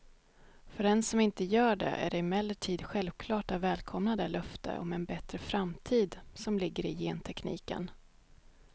För den som inte gör det är det emellertid självklart att välkomna det löfte om en bättre framtid som ligger i gentekniken.